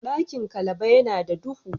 Dakin Calaba ya na da dubu.